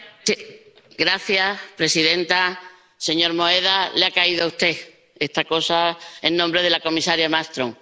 Señora presidenta, señor Moedas. Le ha caído a usted esta cosa, en nombre de la comisaria Malmström.